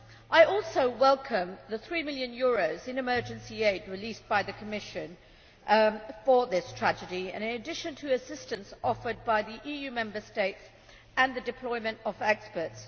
I also welcome the EUR 3 million in emergency aid released by the Commission for this tragedy, in addition to assistance offered by the EU Member States and the deployment of experts.